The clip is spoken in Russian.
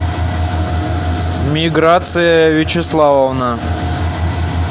миграция вячеславовна